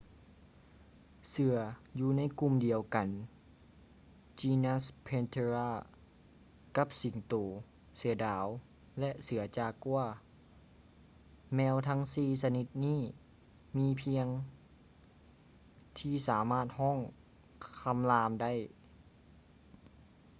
ເສືອຢູ່ໃນກຸ່ມດຽວກັນ genus panthera ກັບສິງໂຕ ເສືອດາວ ແລະ ເສືອຈາກົວ. ແມວທັງສີ່ຊະນິດນີ້ມີພຽງທີ່ສາມາດຮ້ອງຄໍາລາມໄດ້